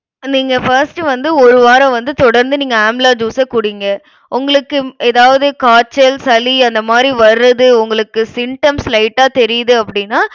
நம்ம இங்க first வந்து ஒரு வாரம் வந்து தொடர்ந்து நீங்க amla juice அ குடிங்க. உங்களுக்கு ஏதாவது காய்ச்சல், சளி அந்த மாதிரி வருது உங்களுக்கு symptoms light ஆ தெரியுது அப்டினா